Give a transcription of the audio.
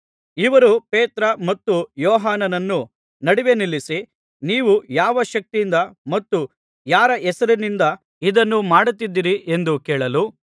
ಇವರು ಪೇತ್ರ ಮತ್ತು ಯೋಹಾನನ್ನು ನಡುವೆ ನಿಲ್ಲಿಸಿ ನೀವು ಯಾವ ಶಕ್ತಿಯಿಂದ ಮತ್ತು ಯಾರ ಹೆಸರಿನಿಂದ ಇದನ್ನು ಮಾಡುತ್ತಿದ್ದೀರಿ ಎಂದು ಕೇಳಲು